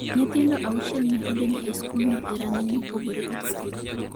Nyithindo auchiel ne odonjo e skulno e rang’iny mopogore opogore.